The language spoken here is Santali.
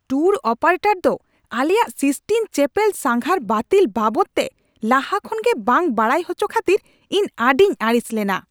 ᱴᱩᱨ ᱚᱯᱟᱨᱮᱴᱚᱨ ᱫᱚ ᱟᱞᱮᱭᱟᱜ ᱥᱤᱥᱴᱤᱱ ᱪᱮᱹᱯᱮᱞ ᱥᱟᱸᱜᱷᱟᱨ ᱵᱟᱹᱛᱤᱞ ᱵᱟᱵᱚᱫᱛᱮ ᱞᱟᱦᱟ ᱠᱷᱚᱱᱜᱮ ᱵᱟᱝ ᱵᱟᱲᱟᱭ ᱦᱚᱪᱚ ᱠᱷᱟᱹᱛᱤᱨ ᱤᱧ ᱟᱹᱰᱤᱧ ᱟᱹᱲᱤᱥ ᱞᱮᱱᱟ ᱾